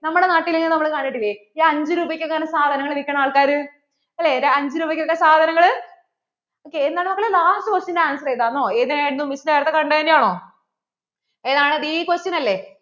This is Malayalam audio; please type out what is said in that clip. നമ്മുടെ നാട്ടിൽ ഇങ്ങനെ നമ്മൾ കണ്ടിട്ടില്ലേ ഈ അഞ്ച് രൂപക്ക് ഒക്കെ സാധനകൾ വിൽക്കുന്ന ആൾക്കാർ അല്ലേ അഞ്ചുരൂപയ്ക്ക് ഒക്കെ സാധനങ്ങള്‍? ok എന്താണ് മക്കളെ last questionanswer എന്താണെന്നോ ഏതായിരുന്നു? Miss നേരത്തെ കണ്ടതുതന്നെയാണോ? ഏതാണ് ഈ question അല്ലെ